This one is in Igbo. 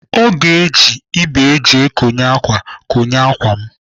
Ọ ga-eji ibé eji ekonye ákwà konye ákwà m.